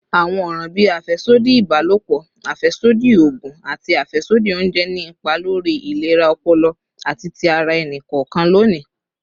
Awọn ọran bii afẹsodi ibalopọ, afẹsodi oogun, ati afẹsodi ounjẹ ni ipa lori ilera ọpọlọ ati ti ara ẹni kọọkan loni.